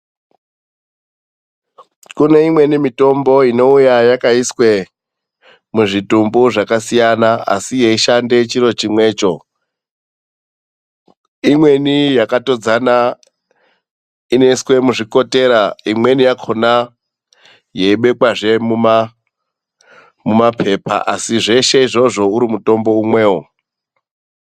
Kune imweni mitombo inouya yakaiswe muzvitumbu zvakasiyana, asi yeishande chiro chimwecho. Imweni yakatodzana inoiswe muzvikotera; imweni yakhona yeibekwazve mumaphepha, asi zveshe izvozvo uri mutombo umwewo.